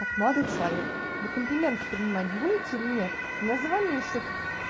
так молодой человек вы комплименты принимать будете или нет у меня за вами ещё тут